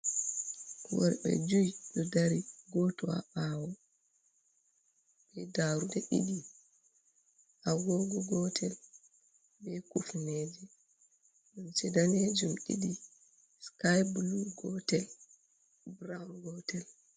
Worɓe jui ɗo dari goto ha ɓawo, daruɗe ɗiɗi, agogo gotel, be kufneje, limse danejuum ɗiɗi, sikayi bulu gotel burawun gotel.